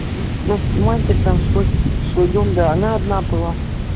вот у матери там свой дом да она одна была